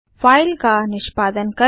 file का निष्पादन करें